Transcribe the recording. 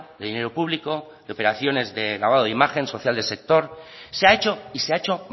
de dinero público de operaciones de lavado de imagen social de sector se ha hecho y se ha hecho